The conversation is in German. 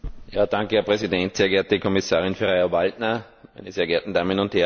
Herr Präsident, sehr geehrte Frau Kommissarin Ferrero Waldner, meine sehr geehrten Damen und Herren!